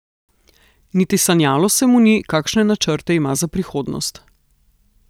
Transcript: Niti sanjalo se mu ni, kakšne načrte ima za prihodnost.